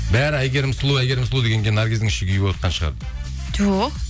бәрі әйгерім сұлу әйгерім сұлу дегенге наргиздің іші күйіп отқан шығар жоқ